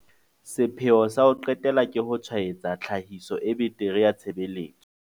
Sepheo sa ho qetela ke ho tshwaetsa tlhahiso e betere ya tshebeletso.